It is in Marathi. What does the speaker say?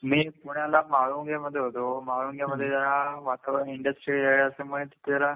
मी पुण्याला महाळुंगे मध्ये होतो महाळुंगे मध्ये जरा वातावरण इंडस्ट्रियल एरिया असल्यामुळे तिथे जरा